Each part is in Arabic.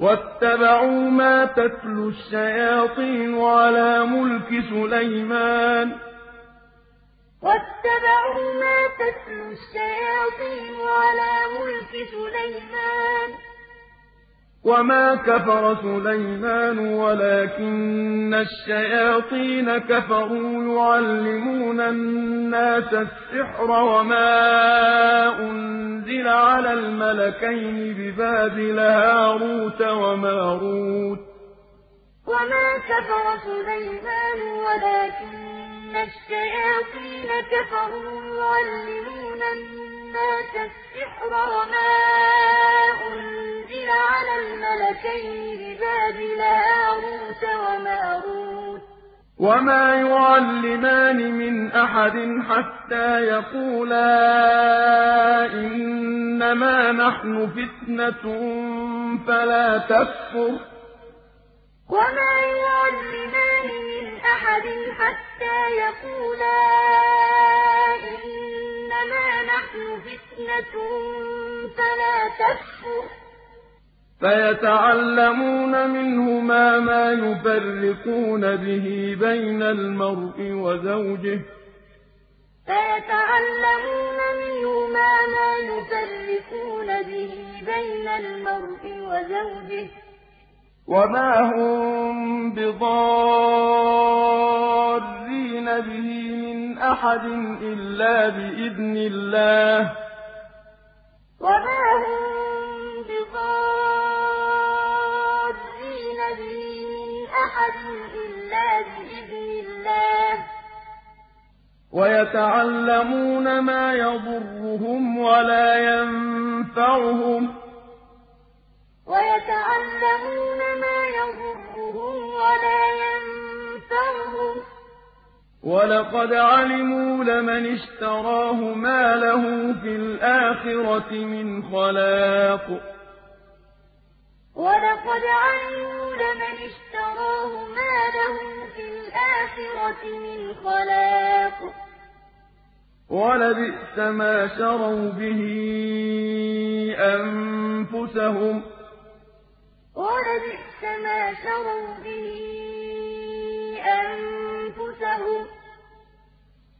وَاتَّبَعُوا مَا تَتْلُو الشَّيَاطِينُ عَلَىٰ مُلْكِ سُلَيْمَانَ ۖ وَمَا كَفَرَ سُلَيْمَانُ وَلَٰكِنَّ الشَّيَاطِينَ كَفَرُوا يُعَلِّمُونَ النَّاسَ السِّحْرَ وَمَا أُنزِلَ عَلَى الْمَلَكَيْنِ بِبَابِلَ هَارُوتَ وَمَارُوتَ ۚ وَمَا يُعَلِّمَانِ مِنْ أَحَدٍ حَتَّىٰ يَقُولَا إِنَّمَا نَحْنُ فِتْنَةٌ فَلَا تَكْفُرْ ۖ فَيَتَعَلَّمُونَ مِنْهُمَا مَا يُفَرِّقُونَ بِهِ بَيْنَ الْمَرْءِ وَزَوْجِهِ ۚ وَمَا هُم بِضَارِّينَ بِهِ مِنْ أَحَدٍ إِلَّا بِإِذْنِ اللَّهِ ۚ وَيَتَعَلَّمُونَ مَا يَضُرُّهُمْ وَلَا يَنفَعُهُمْ ۚ وَلَقَدْ عَلِمُوا لَمَنِ اشْتَرَاهُ مَا لَهُ فِي الْآخِرَةِ مِنْ خَلَاقٍ ۚ وَلَبِئْسَ مَا شَرَوْا بِهِ أَنفُسَهُمْ ۚ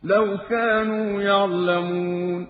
لَوْ كَانُوا يَعْلَمُونَ وَاتَّبَعُوا مَا تَتْلُو الشَّيَاطِينُ عَلَىٰ مُلْكِ سُلَيْمَانَ ۖ وَمَا كَفَرَ سُلَيْمَانُ وَلَٰكِنَّ الشَّيَاطِينَ كَفَرُوا يُعَلِّمُونَ النَّاسَ السِّحْرَ وَمَا أُنزِلَ عَلَى الْمَلَكَيْنِ بِبَابِلَ هَارُوتَ وَمَارُوتَ ۚ وَمَا يُعَلِّمَانِ مِنْ أَحَدٍ حَتَّىٰ يَقُولَا إِنَّمَا نَحْنُ فِتْنَةٌ فَلَا تَكْفُرْ ۖ فَيَتَعَلَّمُونَ مِنْهُمَا مَا يُفَرِّقُونَ بِهِ بَيْنَ الْمَرْءِ وَزَوْجِهِ ۚ وَمَا هُم بِضَارِّينَ بِهِ مِنْ أَحَدٍ إِلَّا بِإِذْنِ اللَّهِ ۚ وَيَتَعَلَّمُونَ مَا يَضُرُّهُمْ وَلَا يَنفَعُهُمْ ۚ وَلَقَدْ عَلِمُوا لَمَنِ اشْتَرَاهُ مَا لَهُ فِي الْآخِرَةِ مِنْ خَلَاقٍ ۚ وَلَبِئْسَ مَا شَرَوْا بِهِ أَنفُسَهُمْ ۚ لَوْ كَانُوا يَعْلَمُونَ